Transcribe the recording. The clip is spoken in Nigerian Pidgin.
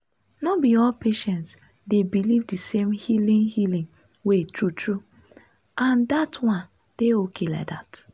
no be all patients dey believe the same healing healing way true true—and that one dey okay like that.